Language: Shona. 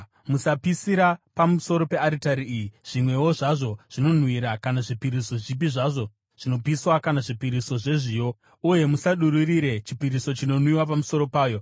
Musapisira pamusoro pearitari iyi zvimwewo zvazvo zvinonhuhwira kana zvipiriso zvipi zvazvo zvinopiswa kana zvipiriso zvezviyo, uye musadururire chipiriso chinonwiwa pamusoro payo.